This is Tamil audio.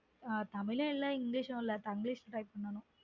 அஹ் தமிழும் இல்ல english ம் இல்ல tonguelish la type பண்ணனும்